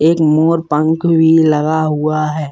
एक मोर पंख भी लगा हुआ है।